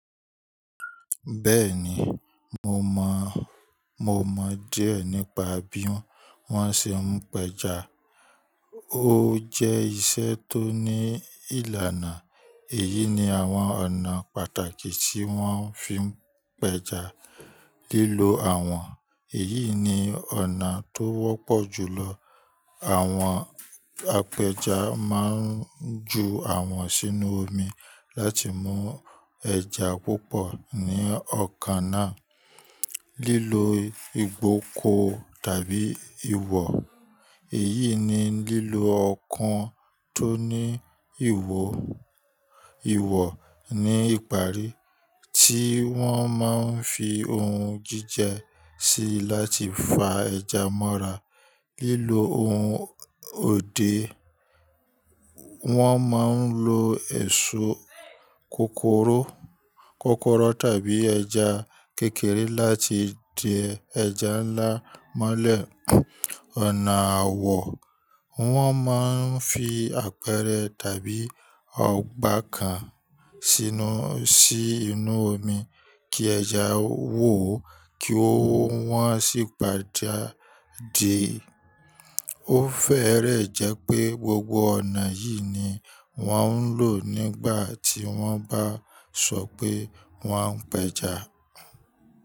Bẹ́ẹ̀ni, mo mọ, mo mọ díẹ̀ nípa bí wọ́n ṣe ń pẹja. Ó jẹ́ iṣẹ́ tó ní ìlànà. Èyí ni àwọn ọ̀nà pàtàkì tí wọ́n fi ń pẹja: lílo awọ̀n, èyí ni ọ̀nà tó wọ́pọ̀ jù lọ. Àwọn apẹja máa ń ju awọ̀n sínú omi láti mú ẹja púpọ̀ ní ookan náà. Lílo ìfókò tàbí iwò, èyí ni lílo ọkàn tó ní ihò, ìwò ní ìparí tí wọ́n máa ń fi ohun jíjẹ sí láti fa ẹja mọ́ra. Lílo ohun òde, wọ́n máa ń lo èso, kòkòrò, kòkòrò tàbí ẹja kékeré láti di ẹja ńlá mọ́lẹ̀. Ọ̀nà àwọ̀, wọ́n máa ń fi apẹ̀rẹ̀ tàbí ọgbà kan sínú, sí inú omi kí ẹja wò ó kí wọ́n sì padà dìí. Ó fẹ́rẹ̀ẹ́ jẹ́ pé gbogbo ọ̀nà yìí ni wọ́n ń lò nígbà tí wọ́n bá sọ pé wọ́n ń pẹja.